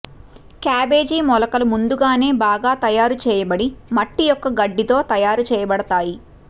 cabbage మొలకలు ముందుగానే బాగా తయారు చేయబడి మట్టి యొక్క గడ్డితో తయారు చేయబడతాయి